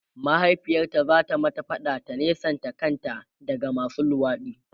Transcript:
mahaifiyarta zata mata faɗa ta nesanta kanta daga masu luwaɗi